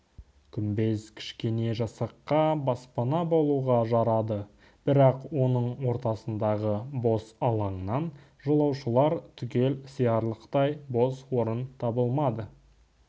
күмбез кішкене жасаққа баспана болуға жарады бірақ оның ортасындағы бос алаңнан жолаушылар түгел сиярлықтай бос орын табылмады